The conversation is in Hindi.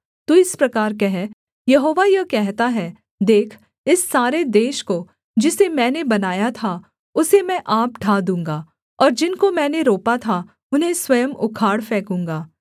तू इस प्रकार कह यहोवा यह कहता है देख इस सारे देश को जिसे मैंने बनाया था उसे मैं आप ढा दूँगा और जिनको मैंने रोपा था उन्हें स्वयं उखाड़ फेंकूँगा